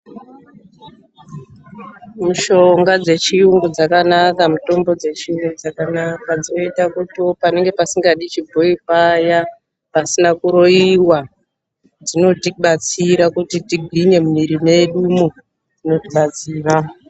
MISHONGA DZECHIYUNGU DZAKANAKA. MITOMBO DZECHIYUNGU DZAKANAKA DZINOITA KUTI PASINGADI CHIBOYI PAYA PASINA KUROIWA DZINOTIBATSIRA KUTI TIGWINYE MUMUVIRI MEDU MWOO DZINOTIBATSIRA.